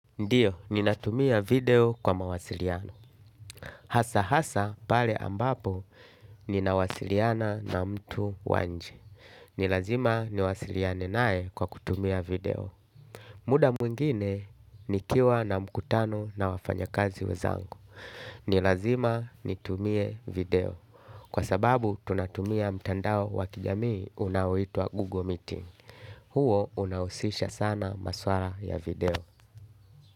Ndiyo, ninatumia video kwa mawasiliano. Hasa hasa pale ambapo ninawasiliana na mtu wa nje. Nilazima niwasiliane nae kwa kutumia video. Muda mwingine, nikiwa na mkutano na wafanya kazi wezangu. Nilazima nitumie video. Kwa sababu, tunatumia mtandao wakijamii unawitwa Google Meeting. Huo unawusisha sana maswara ya video.